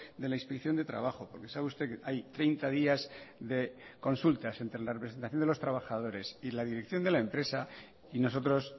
de la inspección de trabajo porque sabe usted que hay treinta días de consultas entre la representación de los trabajadores y la dirección de la empresa y nosotros